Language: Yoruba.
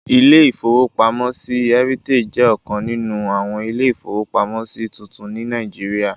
Ilé-ìfowópamọ́sí Heritage jẹ́ ọ̀kan nínú àwọn ilé-ìfowópamọ́sí tuntun ní Nàìjíríyà